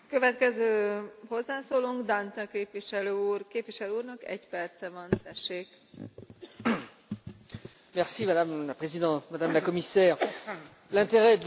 Madame la Présidente, Madame la Commissaire, l'intérêt de l'Union européenne et du Mercosur, deux blocs continentaux, est bien évidemment de se parler, d'échanger et de travailler ensemble.